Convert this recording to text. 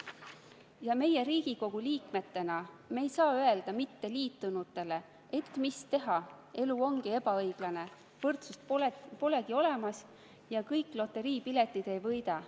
Ja meie Riigikogu liikmetena ei saa öelda mitteliitunutele, et mis teha, elu ongi ebaõiglane, võrdsust polegi olemas ja kõik loteriipiletid ei võida.